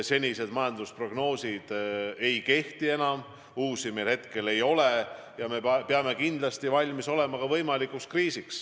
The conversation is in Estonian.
Senised majandusprognoosid ei kehti enam, uusi meil hetkel ei ole ja me peame kindlasti valmis olema ka võimalikuks kriisiks.